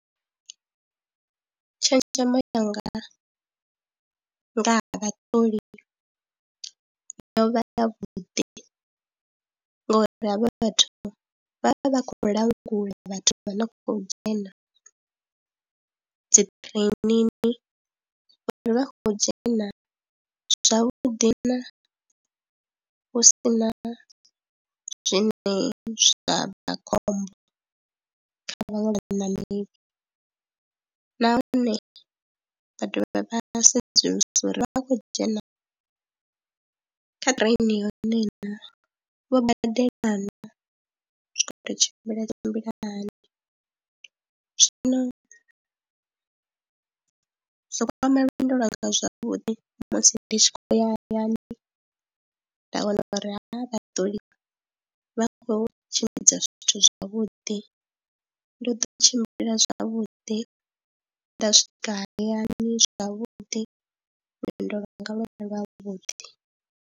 Tshenzhemo yanga nga ha vhaṱoli yo vha yavhuḓi ngauri havha vhathu vha vha vha khou langula vhathu vha no khou dzhena dzi ṱireninini uri vha khou dzhena zwavhuḓi na hu si na zwine zwa bva khombo kha vhaṅwe vhaṋameli nahone vha dovha vha sedzulusa uri vha vha khou dzhena kha ṱireni yone na, vho badela naa, zwi khou tou tshimbila tshimbila hani. Zwino zwo kwama lwendo lwanga zwavhuḓi musi ndi tshi khou ya hayani, nda wana uri havha vhaṱoli vha khou tshimbidza zwithu zwavhuḓi, ndo ḓo tshimbila zwavhuḓi, nda swika hayani zwavhuḓi lwendo lwanga lwo vha ralo lwavhuḓi.